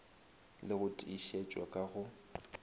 le go tiišetšwa ka go